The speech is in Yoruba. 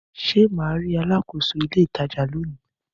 Ṣé mà ri alákòóso ilé ìtajà lónìí?